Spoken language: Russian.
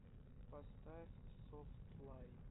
поставь софтли